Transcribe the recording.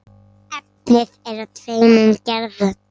Efnið er af tveimur gerðum.